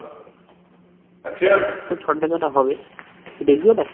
এই সদ্যে যেটা হবে তুই দেখবি এটা